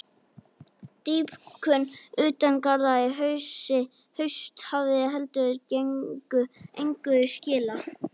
Dýpkun utan garða í haust hafi heldur engu skilað.